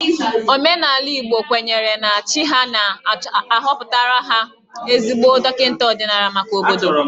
Omenala Igbo kwenyere na chi ha na-ahọpụta ezigbo dọkịta ọdịnala maka obodo